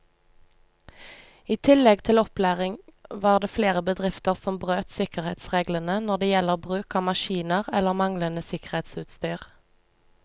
I tillegg til opplæring var det flere bedrifter som brøt sikkerhetsreglene når det gjelder bruk av maskiner eller manglende sikkerhetsutstyr.